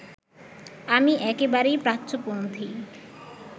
আমি একেবারেই প্রাচ্যপন্থী